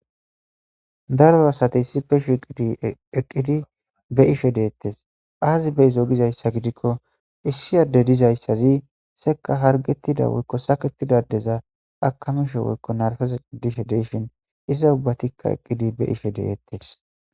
Daro asatey si peshu ideqqidi be ishe deettes aazi beizo dizayssa gidikko issi adde dizayssazi seka hargetida woykko saketidadeza akamishe woykko narfezeqidishe deyshin iza ubbatikka eqqidi be ishe deeettes